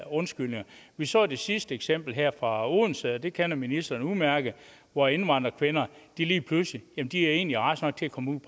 undskyldninger vi så det sidste eksempel fra odense og det kender ministeren udmærket hvor indvandrerkvinder lige pludselig egentlig var raske nok til at komme ud